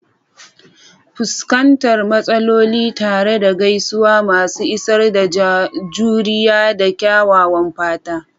Fuskantar matsaloli tare da gaisuwa masu isar da juriya da kyakkyawan fata.